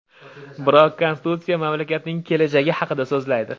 Biroq konstitutsiya mamlakatning kelajagi haqida so‘zlaydi.